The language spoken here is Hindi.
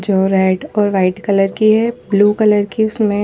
जो रेड और वाइट कलर की है ब्लू कलर की उसमें --